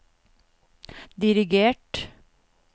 dirigert